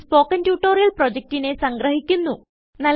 ഇതു spoken tutorial പ്രൊജക്റ്റിനെ സംഗ്രഹിക്കുന്നു